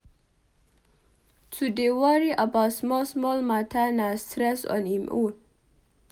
To dey worry about small-small mata na stress on im own.